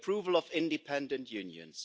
the approval of independent unions